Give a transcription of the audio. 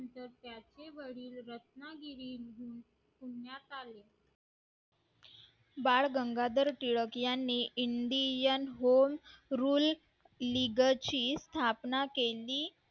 बाळ गंगाधर टिळक यांनी indian goan rule लीगतची स्थापना केली